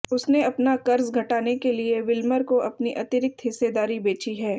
उसने अपना कर्ज घटाने के लिए विल्मर को अपनी अतिरिक्त हिस्सेदारी बेची है